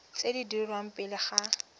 tse di dirwang pele ga